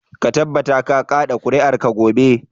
Ka tabbata ka kaɗa ƙuri'arka gobe.